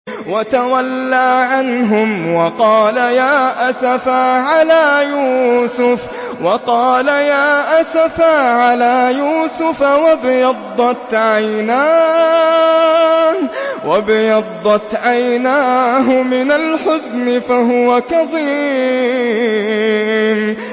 وَتَوَلَّىٰ عَنْهُمْ وَقَالَ يَا أَسَفَىٰ عَلَىٰ يُوسُفَ وَابْيَضَّتْ عَيْنَاهُ مِنَ الْحُزْنِ فَهُوَ كَظِيمٌ